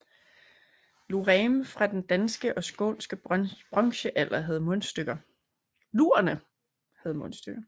Lurerne fra den danske og skånske bronzealder havde mundstykker